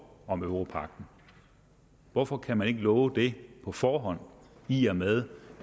om europagten hvorfor kan man ikke love det på forhånd i og med